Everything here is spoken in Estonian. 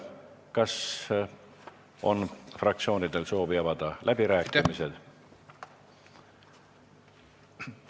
Kas fraktsioonidel on soovi avada läbirääkimised?